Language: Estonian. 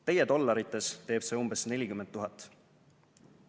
"Teie dollarites teeb see umbes nelikümmend tuhat."